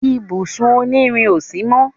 ibùsùn òní rìn ọ sí mọ